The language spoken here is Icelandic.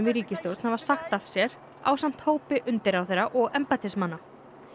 í ríkisstjórn hafa sagt af sér ásamt hópi undirráðherra og embættismanna